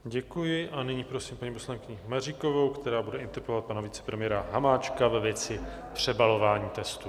Děkuji a nyní prosím paní poslankyni Maříkovou, která bude interpelovat pana vicepremiéra Hamáčka ve věci přebalování testů.